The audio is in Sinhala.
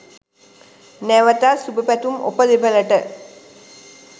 නැවතත් සුභපැතුම් ඔබ දෙපලට.